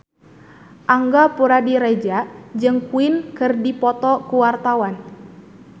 Angga Puradiredja jeung Queen keur dipoto ku wartawan